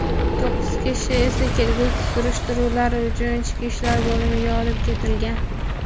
to‘qqiz kishi esa kelgusi surishtiruvlar uchun ichki ishlar bo‘limiga olib ketilgan.